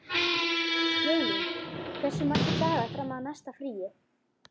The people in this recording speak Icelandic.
Jólín, hversu margir dagar fram að næsta fríi?